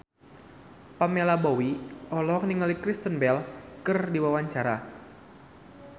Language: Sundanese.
Pamela Bowie olohok ningali Kristen Bell keur diwawancara